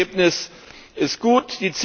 Das Ergebnis ist gut.